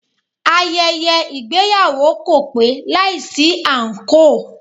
Ayẹyẹ ìgbéyàwó kò pé láìsí àǹkóò.